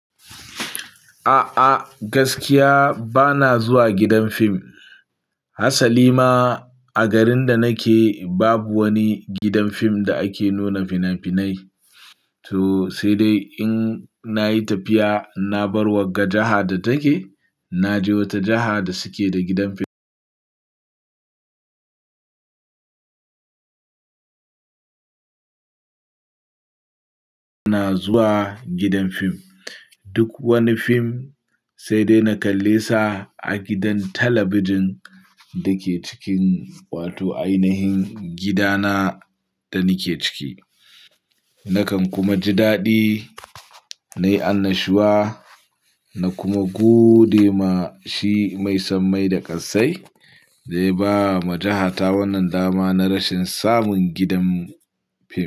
A'a, gaskiya ba na zuwa gidan fim. Hasali ma a garin da nake babu wani gidan fim da ake nuna fina-finai. To sai dai in nayi tafiya na bar wagga jaha da take, na je wata jiha da suke da gidan fim na zuwa gidan fim. Duk wani fim sai dai na kalle sa a gidan talabijin da ke cikin wato ainahin gidana da nike ciki. Nakan kuma ji daɗi, nayi annashuwa na kuma gode ma shi mai sammai da ƙassai da ya ba ma jahata wannan dama na rashin samun gidan fim.